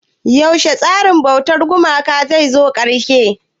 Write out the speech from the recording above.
Yaushe tsarin bautar gumaka zai zo ƙarshe?